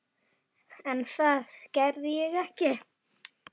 En það sakar ekki að líta til hennar.